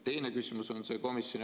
Teine küsimus on see.